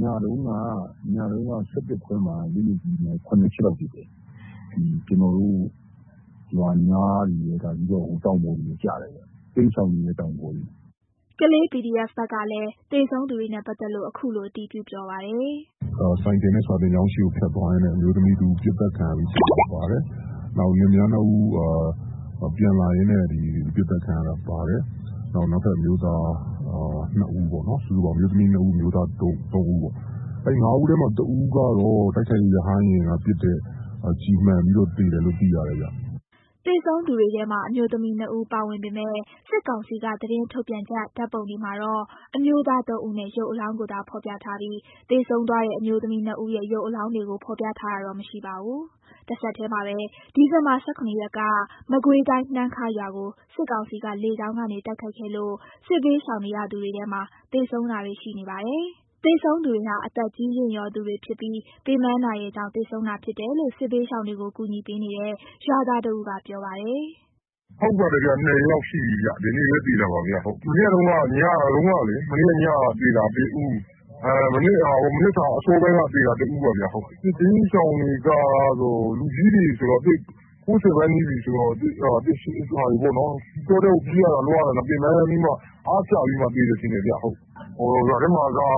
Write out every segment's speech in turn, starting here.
ညတုန်းက ၁၁ ခွဲမှာ လက်နက်ကြီးနဲ့ ၇ ချက်လောက်ပစ်တယ်။ ရွာနားတွေရယ် တောင်ပေါ်တွေရယ်ကျတယ်။ တိမ်းရှောင်နေတဲ့ တောင်ပေါ်တွေ။” ကလေး PDF ဘက်ကလည်း သေဆုံးသူတွေနဲ့ပတ်သက်လို့ အခုလို အတည်ပြုပြောပါတယ်။ “ဆိုင်ကယ်နဲ့စာသင်ကျောင်းရှေ့ကို ဖြတ်သွားရင်းနဲ့ အမျိုးသမီးတဦး ပစ်သတ်ခံရလို့ သေသွားတယ်။ နောက်ပြီး လင်မယား ၂ ဦး ပြန်လာရင်းနဲ့ ပစ်သတ်ခံရတာပါတယ်။ နောက်ထပ် အမျိုးသား ၂ ဦးပေါ့နော်။ စုစုပေါင်း အမျိုးသမီး ၂ ဦး အမျိုးသား ၃ ဦးပေါ့နော်။ ၅ ဦးထဲမှာ ၁ ဦးက တိုက်ခိုက်ရေး ရဟတ်ယာဉ်ပစ်တဲ့ ကျည်မှန်ပြီး သေတယ်လို့ သိရတယ်ခင်ဗျ။” သေဆုံးသူတွေထဲမှာ အမျိုးသမီး၂ ဦး ပါဝင်ပေမယ့် စစ်ကောင်စီက သတင်းထုတ်ပြန်ချက် ဓာတ်ပုံတွေ မှာတော့ အမျိုးသား ၃ ဦးရဲ့ ရုပ်အလောင်းကိုသာ ဖော်ပြထားပြီး သေဆုံးသွားတဲ့ အမျိုးသမီး ၂ ဦးရဲ့ ရုပ်အလောင်းတွေကို ဖော်ပြထားတာတော့ မရှိပါဘူး။ တဆက်တည်းမှာပဲ ဒီဇင်ဘာ ၁၇ ရက်က မကွေးတိုင်း နှမ်းခါးရွာကို စစ်ကောင်စီက လေကြောင်းကနေ တိုက်ခိုက်ခဲ့လို့ စစ်ဘေးရှောင်နေရသူတွေထဲမှာ သေဆုံးတာတွေရှိနေပါတယ်။ သေဆုံးသူတွေဟာ အသက်ကြီးရင့်သူတွေဖြစ်ပြီး ပင်ပန်းကြောင့် သေဆုံးတာဖြစ်တယ်လို့ စစ်ဘေးရှောင်တွေကို ကူညီပေးနေတဲ့ ရွာသားတဦးက ပြောပါတယ်။ “ဟုတ်တယ်ဗျ ၂ ယောက်ရှိပြီ။ မနေ့ညတုန်းက သေတာ ၁ ဦး။ မနက်အစောပိုင်းက သေတာ ၁ ဦး။ စစ်ဘေးရှောင်တွေက လူကြီးတွေဆိုတော့ ၉၀ နားနီးပြီဆိုတော့ ပင်ပန်းပြီး အားကျပြီး သေတယ်ထင်တယ်ခင်ဗျ။ ရွာထဲမှာက ခဏတ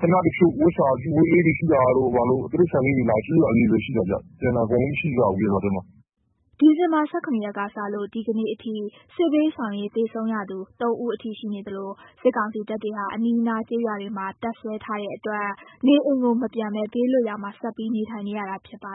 ဖြုတ် ဝက်လေးတွေအစာလာကျွေးတာ၊ တိရစ္ဆာန်လေးတွေ အစာလာကျွေးတာပဲရှိတယ်။ ကျန်တာ ဘယ်သူမှ မရှိကြဘူးရွာထဲမှာ။” ဒီဇင်ဘာ ၁၇ ရက်ကစလို့ ဒီကနေ့အထိ စစ်ဘေးရှောင်ရင်း သေဆုံးရသူ ၃ ဦးအထိ ရှိနေသလို စစ်ကောင်စီတပ်တွေဟာ အနီးနားကျေးရွာတွေမှာ တပ်စွဲထားတဲ့အတွက် နေအိမ်ကိုမပြန်ဘဲ ဘေးလွတ်ရာမှာ ဆက်ပြီး နေထိုင်နေရတာ ဖြစ်ပါ